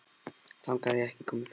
Þangað hafði ég ekki komið fyrr.